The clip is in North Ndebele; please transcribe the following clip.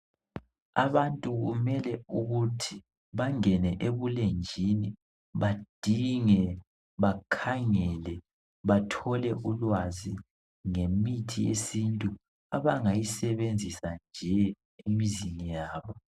Abantu kumele ukuthi abangene ebulenjini badinge bakhangele bathole ulwazi ngemithi yesintu abangayisebenzisa nje emizini yabo.